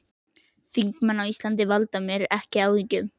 Þingmenn á Íslandi valda mér ekki áhyggjum.